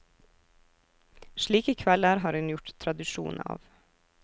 Slike kvelder har hun gjort tradisjon av.